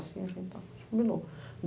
Assim, assim, tá, combinou.